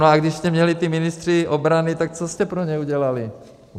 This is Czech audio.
No a když jste měli ty ministry obrany, tak co jste pro ně udělali?